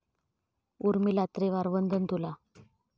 उर्मिला त्रिवार वंदन तुला